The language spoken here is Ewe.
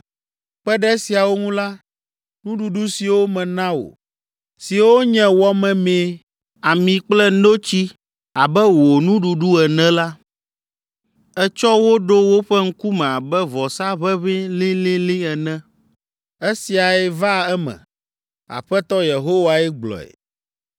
Kpe ɖe esiawo ŋu la, nuɖuɖu siwo mena wò, siwo nye wɔ memee, ami kple notsi abe wò nuɖuɖu ene la, ètsɔ wo ɖo woƒe ŋkume abe vɔsa ʋeʋĩ lilili ene. Esiae va eme. Aƒetɔ Yehowae gblɔe.